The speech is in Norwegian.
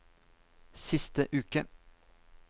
siste uke